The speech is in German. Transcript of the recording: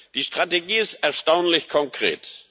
Die Strategie ist erstaunlich konkret.